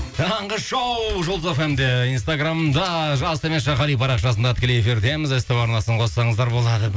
таңғы шоу жұлдыз эф эм де инстаграмда жас төмен сызықша кали парақшасында тікелей эфирдеміз ств арнасын қоссаңыздар болады